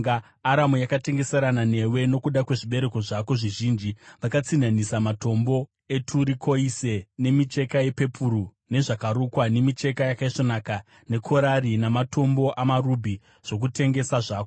“ ‘Aramu yakatengeserana newe nokuda kwezvibereko zvako zvizhinji; vakatsinhanisa matombo eturikoise nemicheka yepepuru, nezvakarukwa, nemicheka yakaisvonaka, nekorari namatombo amarubhi zvokutengesa zvako.